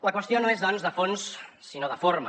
la qüestió no és doncs de fons sinó de forma